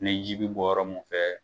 Ne ji bi bɔ yɔrɔ mun fɛ